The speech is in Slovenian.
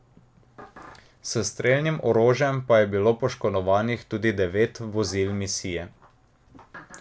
S strelnim orožjem je bilo poškodovanih tudi devet vozil misije.